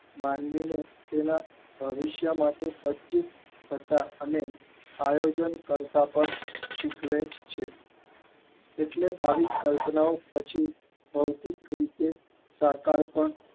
માનવીને તેના ભવિષ્ય માટે પાજિત હતા અને આયોજન કરતા શીખવે છે એટલે આવી કલ્પના પછી ભૌતિક રીતે કાકર પણ